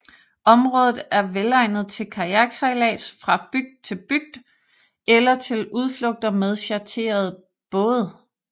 Området er velegnet til kajaksejlads fra bygd til bygd eller til udflugter med chartrede både